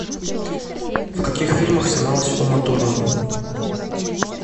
в каких фильмах снималась ума турман